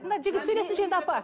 мына жігіт сөйлесінші енді апа